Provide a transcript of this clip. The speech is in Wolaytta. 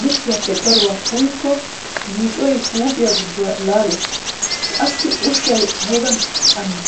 likkiyappe daruwa uyyikko yiicoy huuphiya giduwaa laalees. Qassi ushshay aybba cammi!